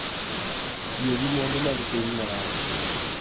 Tiyo gi mwandu mag piny marach